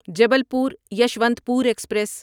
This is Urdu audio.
جبلپور یشونتپور ایکسپریس